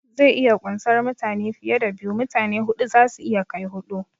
Zai iya kunsar mutane fiye da biyu, mutane huɗu zasu iya kai huɗu